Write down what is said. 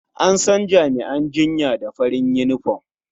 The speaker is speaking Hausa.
An san jami'an jinya da farin yunifom.